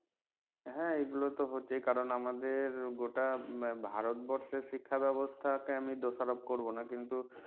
হ্যাঁ এগুলো তো কারন আমাদের গোটা ভারতবর্ষের শিক্ষা ব্যাবস্থা কে আমি দোষারোপ করবোনা কিন্তু